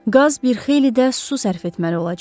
Qaz bir xeyli də su sərf etməli olacağıq.